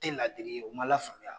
Tɛ ladiri ye u ma lafaamuya